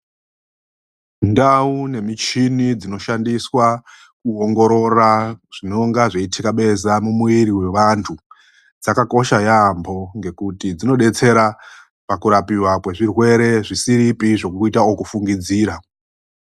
Ndau nemichini dzinoshandiswa mukuongorora zvinonga zveitikabeza mumwiri wevantu dzakakosha yaamho ngekuti dzinobetsera mukurapiwa kwezvirwere zvisiripi zvekufungidzira.